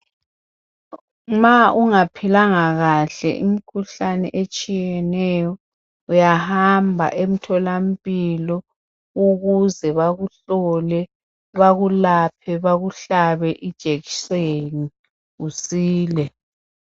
Ma ungaphilanga kahle imikhuhlane etshiyeneyo, uyahamba emtholampilo ukuze bakuhlole, bakulaphe, bakuhlabe ijekiseni usile.